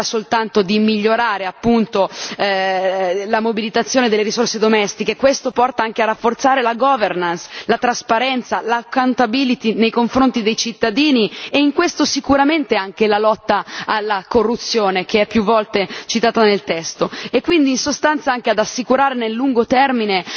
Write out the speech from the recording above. Non si tratta soltanto di migliorare la mobilitazione delle risorse interne questo porta anche a rafforzare la governance, la trasparenza, l' accountability nei confronti dei cittadini e in questo sicuramente anche la lotta alla corruzione, che è più volte citata nel testo, e quindi, in sostanza, anche ad assicurarne, nel lungo termine,